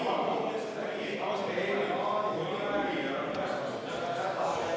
Varro Vooglaid, palun!